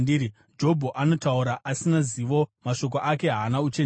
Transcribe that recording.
‘Jobho anotaura asina zivo; mashoko ake haana uchenjeri.’